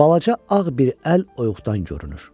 Balaca ağ bir əl oyuğdan görünür.